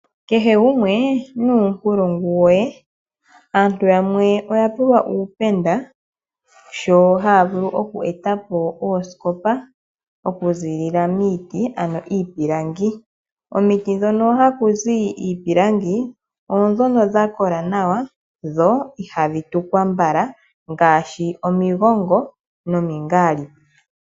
Kehe gumwe nuunkulungu we, aantu yamwe oya pewa uupenda sho haya vulu oku eta po oosikopa, oku ziilila miiti ano iipilangi. Komiti hono haku zi iipilangi oodhono dha kola nawa, dho ihadhi tukwa mbala ngaashi omigongo nomingaalipi.